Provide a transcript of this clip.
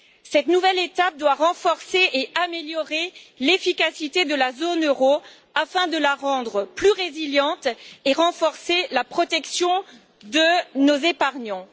Cette nouvelle étape doit renforcer et améliorer l'efficacité de la zone euro afin de la rendre plus résiliente et de renforcer la protection de nos épargnants.